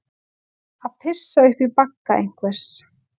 Að pissa upp í bagga einhvers